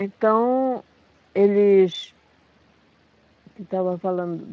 Então, eles... O que eu estava falando?